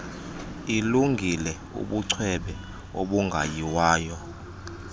ilungile ubucwebe obungayiwayo